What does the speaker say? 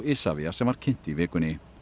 Isavia sem var kynnt í vikunni